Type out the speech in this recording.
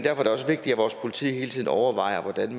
er det også vigtigt at vores politi hele tiden overvejer hvordan